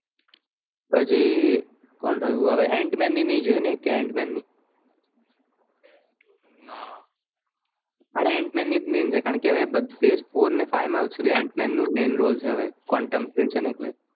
પછી કોણ રાયું આવે antman ની નહિ જોઈ ને એક પણ ના આર antman ની જ મૈન છે કારણ કે આવે બધે જ phase four five માં antman નું main role છે Quantum ખૂલસે ને એટલે